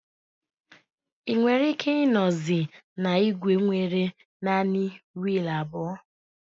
Ị nwere ike ịnozi na igwe nwere naanị wiil abụọ